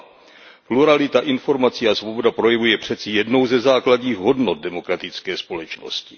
2. Pluralita informací a svoboda projevu je přeci jednou ze základních hodnot demokratické společnosti.